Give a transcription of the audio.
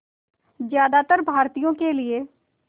ज़्यादातर भारतीयों के लिए